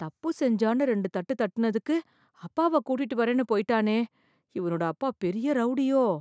தப்பு செஞ்சான்னு ரெண்டு தட்டு தட்டினதுக்கு, அப்பாவ கூட்டிட்டு வரேன்னு போய்ட்டானே... இவனோட அப்பா பெரிய ரௌடியோ...